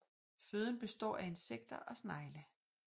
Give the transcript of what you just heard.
Føden består af insekter og snegle